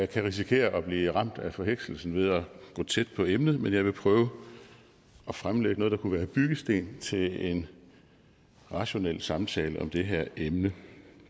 kan risikere at blive ramt af forhekselsen ved at gå tæt på emnet men jeg vil prøve at fremlægge noget der kunne være en byggesten til en rationel samtale om det her emne